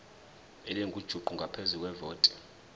elingujuqu ngaphezu kwevoti